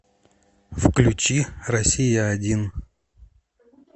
включи россия один